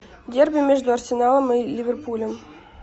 дерби между арсеналом и ливерпулем